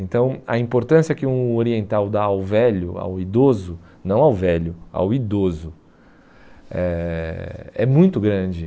Então, a importância que um oriental dá ao velho, ao idoso, não ao velho, ao idoso, é é muito grande.